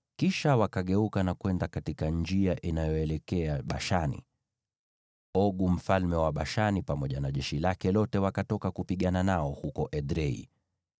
Kisha wakageuka na kwenda katika njia inayoelekea Bashani, naye Ogu mfalme wa Bashani pamoja na jeshi lake lote wakatoka kupigana nao huko Edrei.